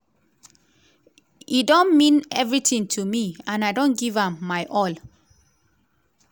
e don mean everitin to me and i don give am my all.